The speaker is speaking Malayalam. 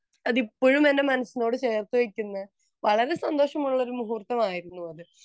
അത് ഇപ്പോഴും എൻ്റെ മനസ്സിനോട് ചേർത്ത് വെക്കുന്ന വളരെ സന്തോഷം ഉള്ള ഒരു മുഹൂർത്തമായിരിന്നു അത്